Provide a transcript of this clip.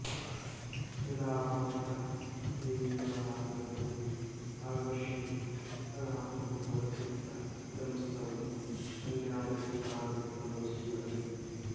यदा भवन्तः केन्बरानगरम् आगमिष्यन्ति तदा अहं भवद्भिः सह इदं स्थलम् अन्यानि स्थलानि च गमिष्यामि